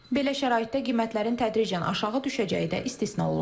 Belə şəraitdə qiymətlərin tədricən aşağı düşəcəyi də istisna olunmur.